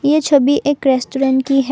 ये छवि एक रेस्टोरेंट की है।